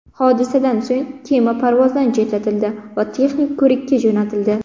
Hodisadan so‘ng kema parvozdan chetlatildi va texnik ko‘rikka jo‘natildi.